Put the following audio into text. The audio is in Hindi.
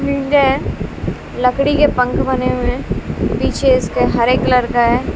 लकड़ी के पंख बने हुए पीछे इसके हरे कलर का है।